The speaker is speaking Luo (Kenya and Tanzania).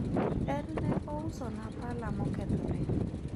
en ne ousona pala mokethore